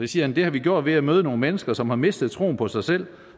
siger han det har vi gjort ved at møde nogle mennesker som har mistet troen på sig selv